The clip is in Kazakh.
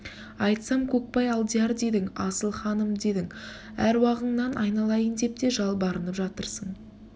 айтсам көкбай алдияр дедің асыл ханым дедің әруағыңнан айналайын деп те жалбарынап жатырсың